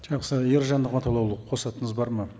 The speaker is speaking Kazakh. жақсы ержан нығматұллаұлы қосатыныңыз бар ма